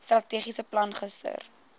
strategiese plan gister